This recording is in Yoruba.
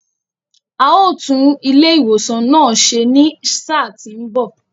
A ó tún ilé ìwòsan náà ṣe ní sáà tí ń bọ̀.